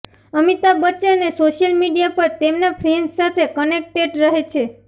અમિતાભ બચ્ચને social media પર તેમના ફેન્સ સાથે કનેક્ટેડ રહે છે